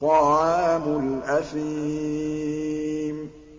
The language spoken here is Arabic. طَعَامُ الْأَثِيمِ